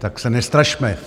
Tak se nestrašme.